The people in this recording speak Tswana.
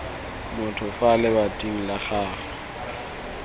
motho fa lebating la gago